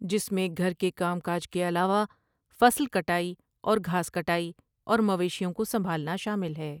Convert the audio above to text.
جس میں گھر کے کام کاج کے علاوہ فصل کٹائی اور گھاس کٹائی اور مویشیوں کو سنبھالنا شامل ہے ۔